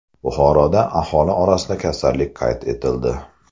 Buxoroda aholi orasida kasallik qayd etildi.